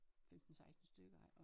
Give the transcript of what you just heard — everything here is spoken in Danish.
15 16 stykker ik og